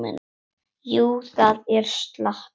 Jú, það er slatti.